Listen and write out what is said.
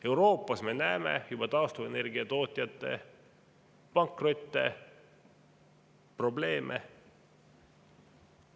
Euroopas me juba näeme taastuvenergia tootjate pankrotte ja muid probleeme.